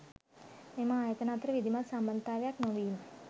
මෙම ආයතන අතර විධිමත් සම්බන්ධතාවයක් නොවීම